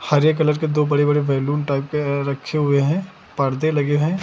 हरे colour के दो बड़े बड़े बैलून टाइप के अ रखे हुए हैं। परदे लगे हैं।